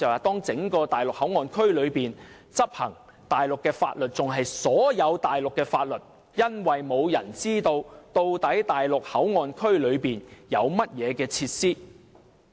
當整個內地口岸區執行所有內地法律時，沒有人知道究竟在內地口岸區內有甚麼設施。